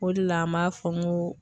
O de la an b'a fɔ n go